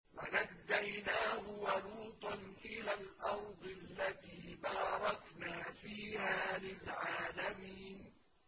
وَنَجَّيْنَاهُ وَلُوطًا إِلَى الْأَرْضِ الَّتِي بَارَكْنَا فِيهَا لِلْعَالَمِينَ